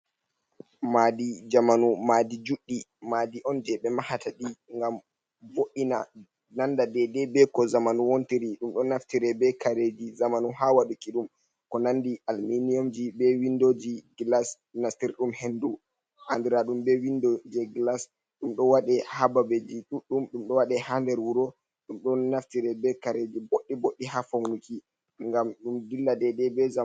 Madi jamanu madi juɗɗi madi on je ɓe mahata ɗi ngam boɗɗina, nanda dei dei be ko zamanu wontiri, ɗum ɗon naftire be kareji zamanu ha waɗuki ɗum ko nandi alminiyumji, be windoji glas nastira ɗum hendu an dire ɗum be windo ji glas, ɗum ɗo waɗi ha babeji ɗuɗɗum ɗum ɗo wade ha nder wuro, ɗum ɗon naftire be kareji boddi boddi ha faunuki ngam ɗum dilla dei dei be zamanu.